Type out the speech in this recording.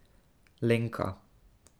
Lenka.